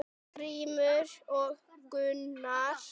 Grímur og Gunnar.